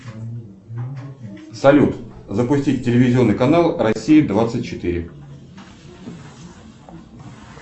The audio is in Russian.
салют запустить телевизионный канал россия двадцать четыре